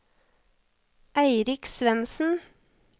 Eirik Svensen